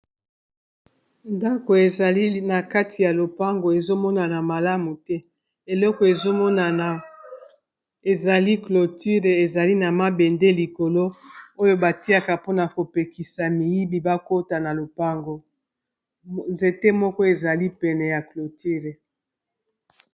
Ndako, ezali na kati ya lopango, ezo monana malamu te. Eloko ezo monana, ezali cloture. Ezali na mabende likolo, oyo ba tiaka mpona ko pekisa miyibi ba kota na lopango. Nzete moko ezali pene ya cloture.